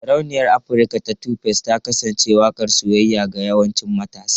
Sarauniyar Afirka ta 2face ta kasance waƙar soyayya ga yawancin matasa.